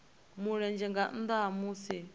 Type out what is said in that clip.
mulenzhe nga nnda ha musi